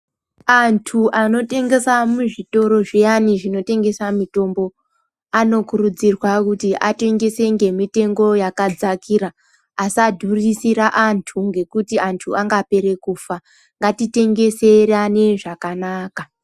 Anthu anotengesa muzvitoro zviyani zvinotengesa mitombo anokurudzirwa kuti atengese ngemitombo yakadzakira asadhurisira anthu ngekuti anthu angapere kufa ngatitengeserane zvakanaka.